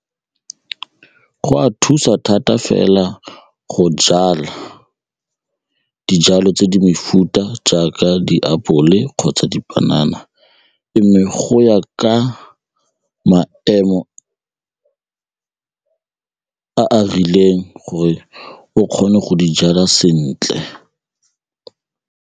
Go a thusa thata fela go jala dijalo tse di mefuta jaaka diapole kgotsa dipanana go ya ka maemo a a rileng gore o kgone go di jala sentle.